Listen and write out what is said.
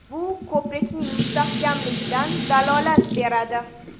Bu ko‘prikning mustahkamligidan dalolat beradi.